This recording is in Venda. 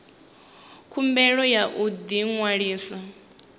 khumbelo ya u ḓi ṅwalisa